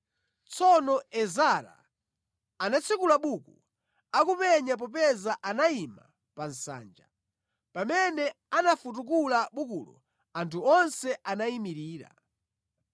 Tsono Ezara anatsekula buku, akuona popeza anayima pa nsanja. Pamene anafutukula bukulo anthu onse anayimirira.